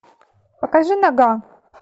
покажи нога